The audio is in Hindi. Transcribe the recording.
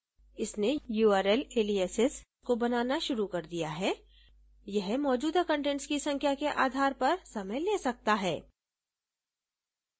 इसने url aliases को बनाना शुरू कर दिया है यह मौजूदा कंटेंट्स की संख्या के आधार पर समय ले सकता है